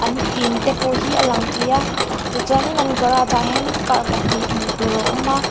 in te pawh hi a lang thei a tichuan in an garage an hianin car pahnih hmuh tur a awm a.